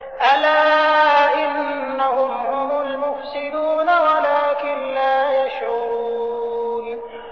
أَلَا إِنَّهُمْ هُمُ الْمُفْسِدُونَ وَلَٰكِن لَّا يَشْعُرُونَ